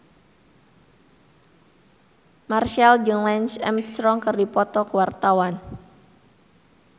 Marchell jeung Lance Armstrong keur dipoto ku wartawan